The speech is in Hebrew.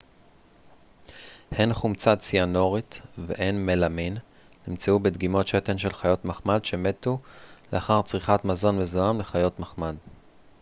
הן חומצה ציאנורית והן מלמין נמצאו בדגימות שתן של חיות מחמד שמתו לאחר צריכת מזון מזוהם לחיות מחמד